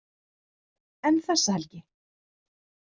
En þessa helgi?